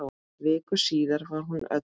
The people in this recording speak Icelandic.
Viku síðar var hún öll.